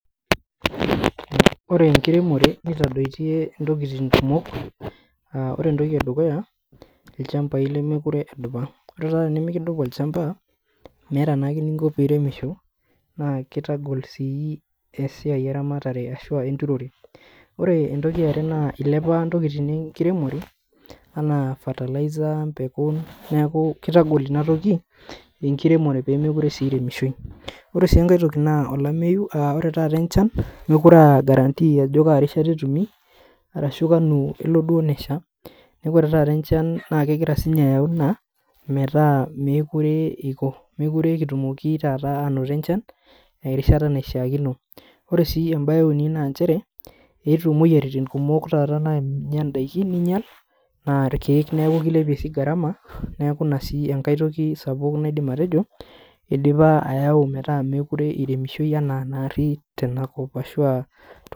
Ore enkiremore nitadoitie intokiting kumok uh ore entoki edukuya ilchambai lemekure edupa ore taa tenimikidupa olchamba meeta naake eninko piremisho naa kitagol sii esiai eramatare ashua enturore ore entoki iare naa ilepa intokitin enkiremore anaa fertilizer empeku neeku kitagol inatoki enkiremore pemekure sii iremishoi ore sii enkae toki naa olameyu aa ore taata enchan mekure aa guarantee ajo kaa rishata etumi arashu kanu elo duo nesha neeku ore taata enchan naa kegira sininye ayau ina metaa mekure eiko mekure kitumoki taata anoto enchan erishata naishiakino ore sii embaye euni nanchere eetuo imoyiaritin kumok taata naanya indaiki ninyial naa irkeek niaku kilepie sii gharama neeku ina sii enkae toki sapuk naidim atejo idipa ayau metaa mekure iremishoi enaa narri tenakop ashua.